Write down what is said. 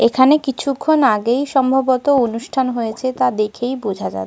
এখানে কিছুক্ষণ আগেই সম্ভবত অনুষ্ঠান হয়েছে তা দেখেই বোঝা যাচ্ছে।